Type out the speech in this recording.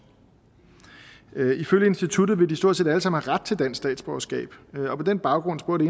ifølge instituttet ville de stort set alle sammen have ret til dansk statsborgerskab og på den baggrund spurgte